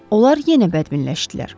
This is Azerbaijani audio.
Onlar yenə bədbinləşdilər.